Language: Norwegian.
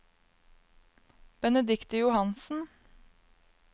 Benedicte Johansen